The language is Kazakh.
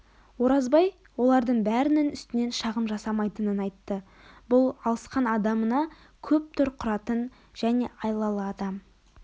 оразбай олардың бәрінің үстінен шағым жасамайтынын айтты бұл алысқан адамына көп тор құратын және айлалы адам